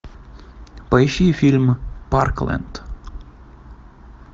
поищи фильм парклэнд